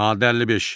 Maddə 55.